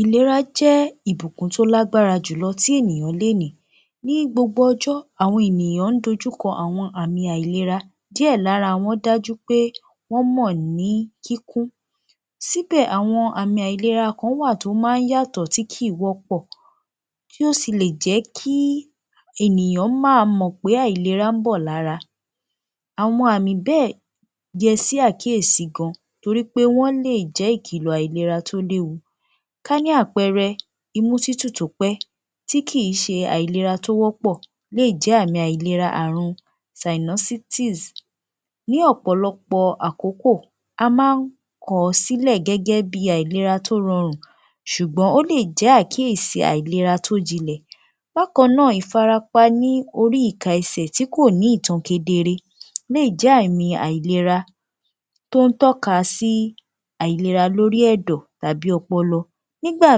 Ìlera jẹ́ ìbùkún tó lágbára jùlọ tí ènìyàn lè ní. Ní gbogbo ọjọ́, àwọn ènìyàn ń dojú kọ àwọn àmì àìlera. Díẹ̀ lára wọn dájú pé wọ́n mọ̀ ní kíkún síbẹ̀ àwọn àmì àìlera kán wà tó yàtọ̀ tí kìí wọ́pọ̀ kí ó si lè jẹ́ kí ènìyàn máa mọ pé àìlera ń bọ̀ lára. Àwọn àmì bẹ́ẹ̀ yẹ sí àkíyèsí gan torípé wọ́n lè jẹ́ ìkilọ àìlera tó léwu. Ká ní àpẹẹrẹ imú tútù tó pẹ́ tí kìí ṣe àìlera tó wọ́pọ̀ lè jẹ́ àmì àìlera àrùn sinusitis. Ní ọ̀pọ̀lọpọ̀ àkókò a máa ń kọ̀ọ́ sílẹ̀ gẹ́gẹ́bí àìlera tó rọrùn ṣùgbọ́n ó lè jẹ́ àkíyèsí àìlera tó jinlẹ̀. Bákan náà ìfarapa ní orí ìka ẹsẹ̀ tí kò ní ìtan kedere lè jẹ́ àmì àìlera tó ń tọ́ka sí àìlera lórí ẹ̀dọ̀ tàbí ọpọlọ. Nígbà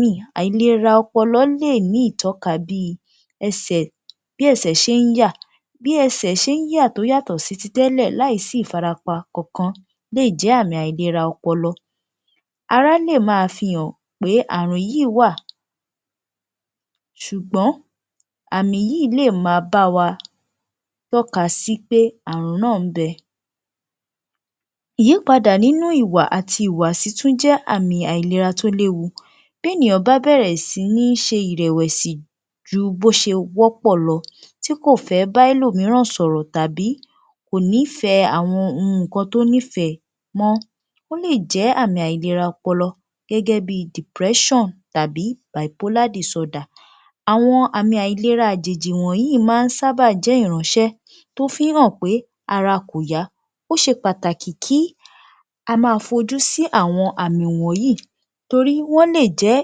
mi àìlera ọpọlọ lè ní ìtọ́ka bí ẹsẹ̀ bí ẹsẹ̀ ṣé ń yà, bí ẹ̀sẹ̀ ṣé ń yà tó yàtọ̀ sí ti tẹ́lẹ̀ láì sí ìfarapa kankan lè jẹ́ àmì àìlera ọpọlọ. Ara lè máa fi hàn pé àrùn yìí wà ṣùgbọ́n àmì yìí lè ma báwa tọ́ka sí pé àrùn náà ń bẹ. Ìyípadà nínú ìwà àti ìhùwàsí tún jẹ́ àmì àìlera tó léwu. Bí ènìyàn bá bẹ̀rẹ̀ sí ní ṣe ìrẹ̀wẹ̀sì ju bó ṣe wọ́pọ̀ lọ tí kò fẹ́ bá ẹlòmíràn sọ̀rọ̀ tàbí kò nífẹ̀ẹ́ àwọn ohun nǹkan tó nífẹ̀ẹ́ mọ́, ó lè jẹ́ àmì àìlera ọpọlọ gẹ́gẹ́bí depression tàbí bipolar disorder. Àwọn àmì àìlera àjèjì wọnyìí máa ń sábà jẹ́ ìránṣẹ́ tó fí ń hàn pé ara kò yá. Ó ṣe pàtàkì kí a máa fojú sí àwọn àmì wọnyìí torí wọ́n lè jẹ́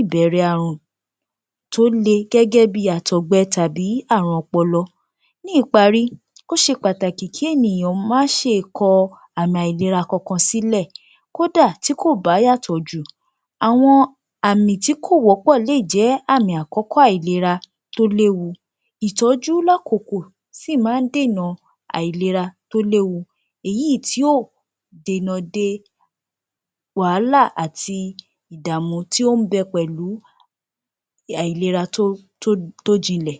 ìbẹ̀rẹ̀ àrùn tó le gẹ́gẹ́bí àtọ̀gbe tàbí àrùn ọpọlọ. Ní ìparí ó ṣe pàtàkì kí ènìyàn má ṣe kọ àmì àìlera kankan sílẹ̀. Kódà tí kò bá yàtọ̀ jù, àwọn àmì tí kò wọ́pọ̀ lè jẹ́ àmì àkọ́kọ́ àìlera tó léwu. Ìtọ́jú lákòkò sì máa ń dènà àìlera tó léwu. Èyí tí ò dènà de wàhálà àti ìdàmú tí ó ń bẹ pẹ̀lú àìlera tó jinlẹ̀.